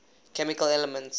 chemical elements